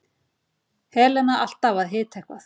Helena alltaf að hita eitthvað.